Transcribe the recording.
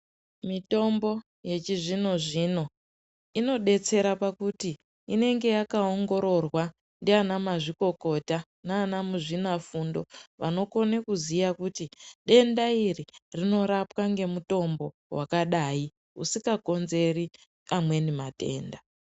Mitombo yechizvinozvino inodetsera pakuti inenge yakaongororwa ndiana mazvikokota naana muzvinafundo, vanokone kuziya kuti denda iri rinorapwa ngemutombo wakadai, usikakonzeri amweni matenda.